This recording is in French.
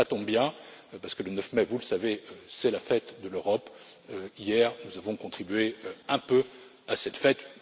Cela tombe bien parce que le 9 mai, vous le savez, c'est la fête de l'Europe. Hier, nous avons contribué un peu à cette